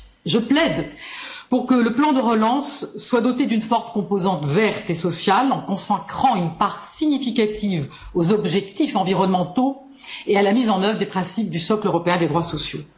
Je plaide pour que le plan de relance soit doté d'une forte composante verte et sociale en consacrant une part significative aux objectifs environnementaux et à la mise en œuvre des principes du socle européen des droits sociaux.